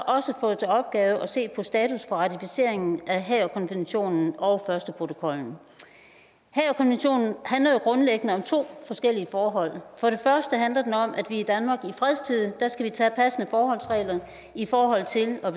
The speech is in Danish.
også fået til opgave at se på status for ratificeringen af haagerkonventionen og førsteprotokollen haagerkonventionen handler jo grundlæggende om to forskellige forhold for det første handler den om at vi i danmark i fredstid skal tage passende forholdsregler i forhold til at